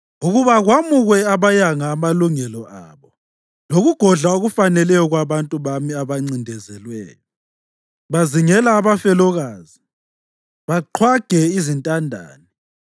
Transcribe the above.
ukuba kwamukwe abayanga amalungelo abo lokugodla okufaneleyo kwabantu bami abancindezelweyo; bazingela abafelokazi baqhwage izintandane.